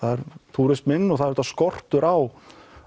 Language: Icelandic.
túrismanum og það er auðvitað skortur á